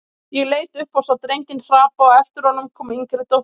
Ég leit upp og sá drenginn hrapa og á eftir honum kom yngri dóttirin.